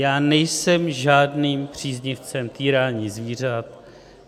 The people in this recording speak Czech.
Já nejsem žádným příznivcem týrání zvířat.